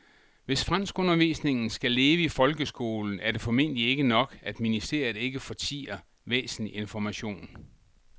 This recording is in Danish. Hvis franskundervisningen skal leve i folkeskolen er det formentlig ikke nok, at ministeriet ikke fortier væsentlig information.